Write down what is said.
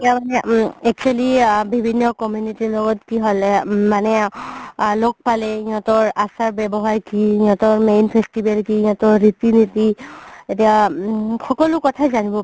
ইতিয়া মানে উম actually আ বিভিন্ন community ৰ লগত হ'লে উম মানে আ লগ পালে সেহেতৰ আচাৰ ৱ্যাবহাৰ কি সিহিতৰ main festival সিহিতৰ ৰিতি নিতি কি এতিয়া সকলো কথাই যানিব পাৰি